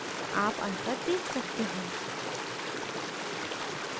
आप अंतर देख सकते हैं